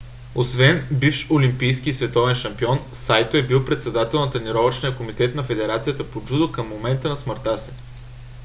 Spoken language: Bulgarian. освен бивш олимпийски и световен шампион сайто е бил председател на тренировъчния комитет на федерацията по джудо към момента на смъртта си